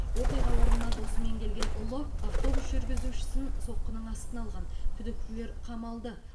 оқиға орнына досымен келген ұлы автобус жүргізушісін соққының астына алған күдіктілер қамалды